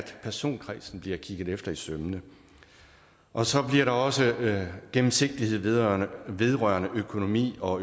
personkredsen bliver kigget efter i sømmene og så bliver der også gennemsigtighed vedrørende vedrørende økonomi og